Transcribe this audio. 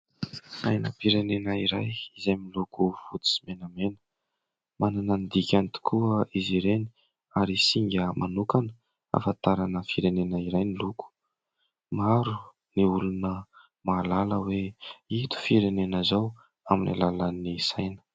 Sainam-pirenena iray izay miloko fotsy sy menamena. Manana ny dikany tokoa izy ireny ary singa manokana ahafantarana firenena iray ny loko. Maro ny olona mahalala hoe ito firenena izao amin'ny alalan'ny saina.